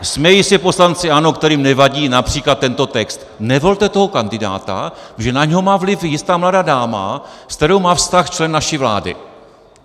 Smějí se poslanci ANO, kterým nevadí například tento text: "Nevolte toho kandidáta, protože na něj má vliv jistá mladá dáma, s kterou má vztah člen naší vlády."